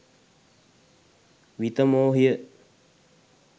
විතමෝහිය